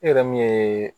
E yɛrɛ min ye